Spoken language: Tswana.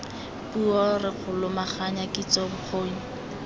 puo re lomaganya kitso bokgoni